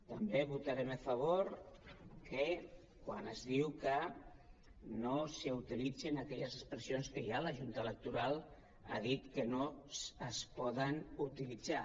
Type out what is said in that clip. també votarem a favor que quan es diu que no s’utilitzin aquelles expressions que ja la junta electoral ha dit que no es poden utilitzar